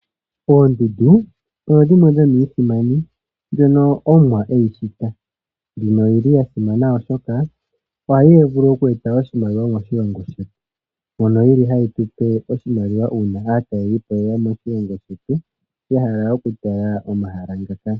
Oondundu odho dhimwe dhono omwa edhishita noyili yasimana oshoka ohadhi vulu okweta oshimaliwa moshilongo shetu mbyono yili hayi tupe oshimaliwa uuna aatalwlipo yeya moshilongo shetu yahala okutala omahala ngoka.